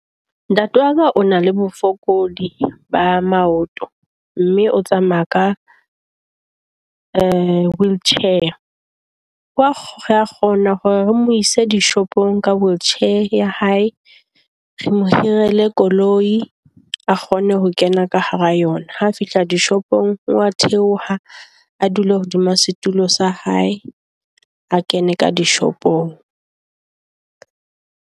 Ntate wa ka o na le bofokodi ba maoto, mme o tsamaya ka wheelchair. O a kgo re a kgona hore re mo ise dishopong ka wheelchair ya hae. Re mo hirile koloi a kgone ho kena ka hara yona. Ha fihla dishopong o a theoha a dula hodima setulo sa hae. A kene ka dishopong.